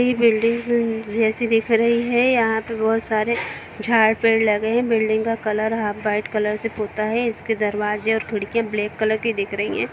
Building जैसी दिख रही है यहां पर बहुत सारे झाड़ -पेड़ लगे हैं बिल्डिंग का कलर हाफ व्हाइट कलर से पोता है इसके दरवाज़े और खिड़की ब्लैक कलर की दिख रही है।